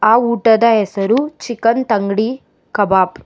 ಆ ಊಟದ ಹೆಸರು ಚಿಕನ್ ತಂಗ್ಡಿ ಕಬಾಬ್.